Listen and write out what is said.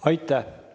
Aitäh!